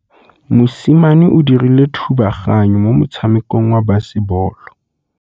Mosimane o dirile thubaganyô mo motshamekong wa basebôlô.